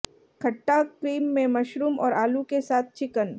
खट्टा क्रीम में मशरूम और आलू के साथ चिकन